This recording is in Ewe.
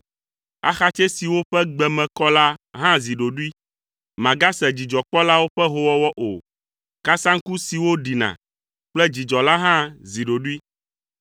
Axatsɛ siwo ƒe gbe me kɔ la hã zi ɖoɖoe, Màgase dzidzɔkpɔlawo ƒe hoowɔwɔ o. Kasaŋku siwo ɖina kple dzidzɔ la hã zi ɖoɖoe.